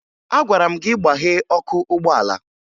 Agwara m gị gbaghee ọkụ ụgbọala!